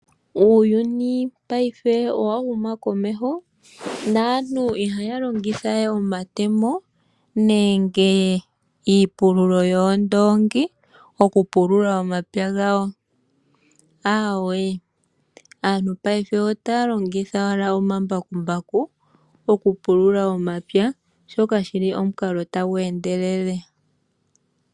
Uuyuni paife owa huma komeho, naantu ihaya longitha we omatemo nenge iipululo yoondoongi oku pulula omapya gawo, aweee, aantu paife otaya longitha owala omambakumbaku oku pulula omapya, shoka shili omukalo tagu endelele.